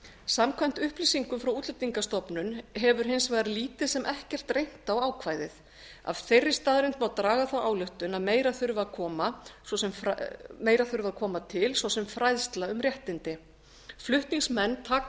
samkvæmt upplýsingum frá útlendingastofnun hefur hins vegar lítið sem ekkert reynt á ákvæðið af þeirri staðreynd má draga þá ályktun að meira þurfi til að koma svo sem fræðsla um réttindi flutningsmenn taka